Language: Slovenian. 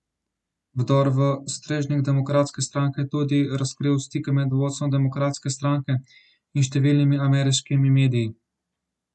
Vdor v strežnik demokratske stranke je tudi razkril stike med vodstvom demokratske stranke in številnimi ameriškimi mediji.